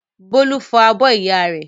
Bólú fọ́ abọ́ ìyá rẹ̀.